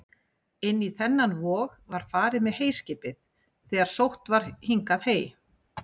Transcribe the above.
Inn í þennan vog var farið með heyskipið þegar sótt var hingað hey.